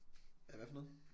A hvad for noget?